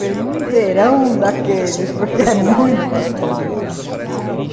Eu falei, num verão daqueles, porque é muito frio lá.